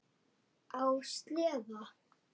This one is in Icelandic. Á sleða.